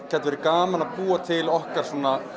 gæti verið gaman að búa til okkar